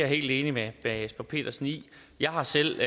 helt enig med herre jesper petersen i jeg har selv